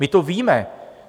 My to víme.